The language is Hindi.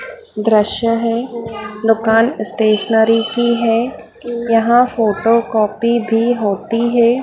दृश्य है दुकान स्टेशनरी की हैं यहां फोटो कॉपी भी होती हैं।